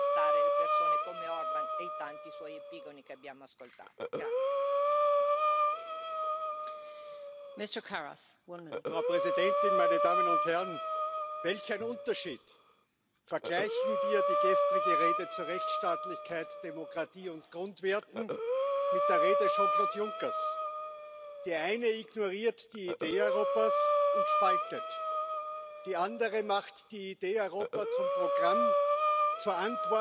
In der letzten Zeit erreichen uns immer wieder Informationen, dass die Flüchtlingsprogramme der internationalen Gemeinschaft chronisch unterfinanziert sind, dass Schulen geschlossen werden müssen. Sie haben heute interessante Vorschläge unterbreitet, über die wir gerne diskutieren. Aber ich erinnere Sie daran Es geht auch darum, die Hausaufgaben zu machen und